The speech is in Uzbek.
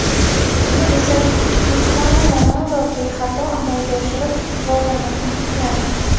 Uni esa Krishtianu Ronaldu bexato amalga oshirib, muvozanatni tikladi.